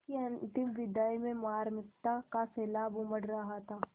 उसकी अंतिम विदाई में मार्मिकता का सैलाब उमड़ रहा था